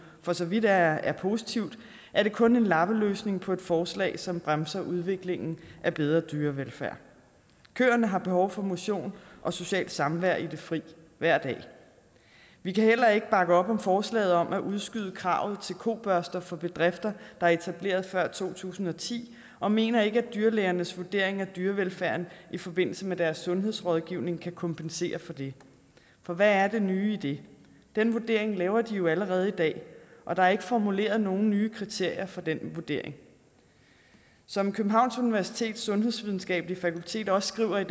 for så vidt er er positivt er det kun en lappeløsning på et forslag som bremser udviklingen af bedre dyrevelfærd køerne har behov for motion og socialt samvær i det fri hver dag vi kan heller ikke bakke op om forslaget om at udskyde kravet til kobørster for bedrifter der er etableret før to tusind og ti og mener ikke at dyrlægernes vurdering af dyrevelfærden i forbindelse med deres sundhedsrådgivning kan kompensere for det for hvad er det nye i det den vurdering laver de jo allerede i dag og der er ikke formuleret nogen nye kriterier for den vurdering som københavns universitets sundhedsvidenskabelige fakultet også skriver i